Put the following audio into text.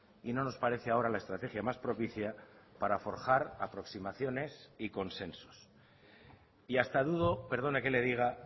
y no nos parece ahora la estrategia más propicia para forjar aproximaciones y consensos y hasta dudo perdone que le diga